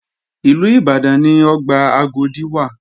Ìlú Ìbàdàn ni ọgbà Agodi wà